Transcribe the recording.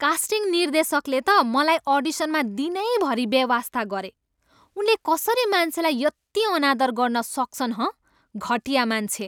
Casting निर्देशकले त मलाई अडिसनमा दिनैभरि बेवास्ता गरे। उनले कसरी मान्छेलाई यति अनादर गर्न सक्छन्, हँ? घटिया मान्छे!